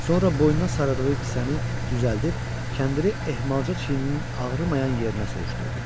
Sonra boynuna sarıdığı kisəni düzəldib, kəndiri ehmalca çiyinin ağrımayan yerinə sürüşdürdü.